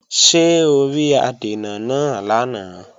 Ṣé o rí adènà náà lánàá?